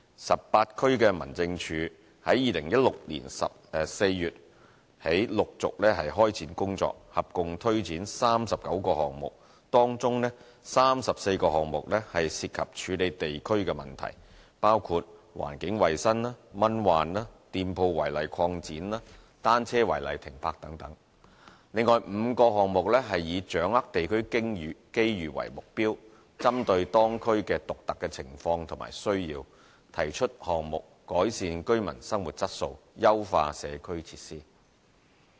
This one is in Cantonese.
十八區民政處由2016年4月起陸續開展工作，合共推展39個項目，當中34個項目涉及處理地區問題，包括環境衞生、蚊患、店鋪違例擴展和單車違例停泊等﹔另外5個項目以掌握地區機遇為目標，針對當區的獨特情況和需要，提出項目改善居民的生活質素，優化社區設施。